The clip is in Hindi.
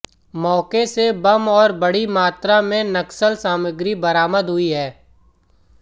मौके से बम और बड़ी मात्रा में नक्सल सामग्री बरामद हुई है